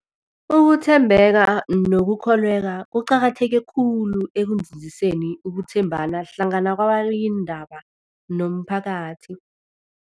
Ukuthembeka nokukholweka kuqakatheke khulu ekunzinziseni ukuthembana hlangana kwababikiindaba nomphakathi.